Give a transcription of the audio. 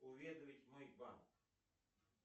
уведомить мой банк